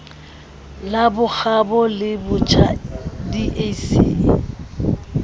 la bokgabo le botjhaba dac